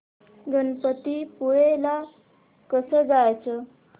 गणपतीपुळे ला कसं जायचं